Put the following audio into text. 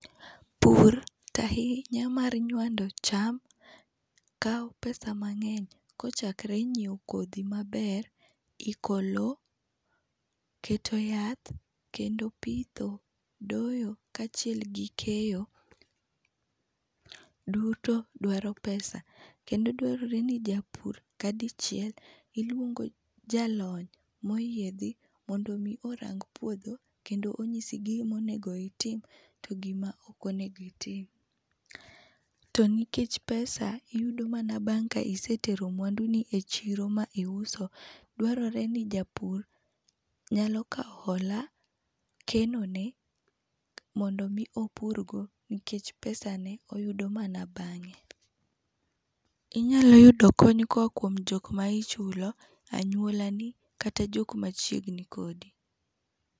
Pur to ahinya mar nywando cham kao pesa mangeny kochakore nyiew kodhi maber, iko loo, keto yath kendo pitho, doyo kachiel gi keyo duto dwaro pesa. Kendo dwarore ni japur ka dichiel iluongo jalony moyiedhi mondo mi orang puodho kendo onyisi gima onego itim gi gima ok onego itim. To nikech pesa iyudo mana bang ka isetero mwandu ni e chiro ma iuso, dwarore ni japur nyalo kao hola, keno ne mondo mi opur godo nikech pesane oyudo bange. Inyalo yudo kony koa kuom jokma ichulo, anyuola ni kata jokma machiegni kodi